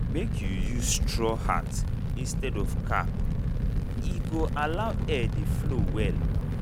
make you use straw hat instead of cap—e go allow air dey flow well.